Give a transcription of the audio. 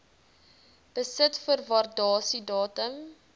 besit voor waardasiedatum